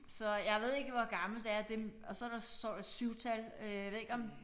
Så jeg ved ikke hvor gammelt det er det og så der står der et syvtal øh ved ikke om